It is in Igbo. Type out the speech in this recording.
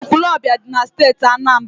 Ekwulọọbịa dị na Steeti Anambra.